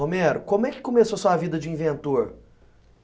Romero, como é que começou a sua vida de inventor?